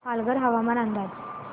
पालघर हवामान अंदाज